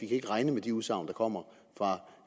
kan regne med de udsagn der kommer fra